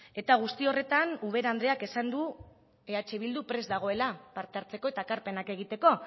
eta guzti horretan ubera andreak esan du eh bildu prest dagoela aparte hartzeko eta ekarpenak egiteko